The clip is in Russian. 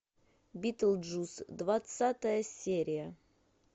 битлджус двадцатая серия